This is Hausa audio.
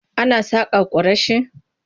Ana saƙa kwarashi.